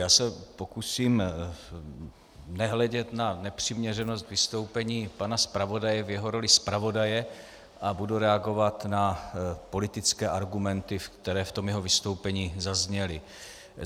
Já se pokusím nehledět na nepřiměřenost vystoupení pana zpravodaje v jeho roli zpravodaje a budu reagovat na politické argumenty, které v tom jeho vystoupení zazněly.